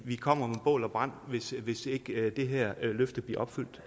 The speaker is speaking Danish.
kommer med bål og brand hvis hvis ikke det her løfte bliver opfyldt